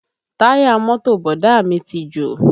Táyà mọ́tò Bọ̀dá à mí ti jò